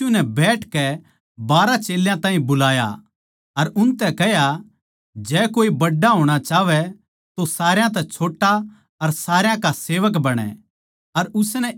फेर यीशु नै बैठकै बारहा चेल्यां ताहीं बुलाया अर उनतै कह्या जै कोए बड्ड़ा होणा चाहवै तो सारया तै छोट्टा अर सारया का सेवक बणै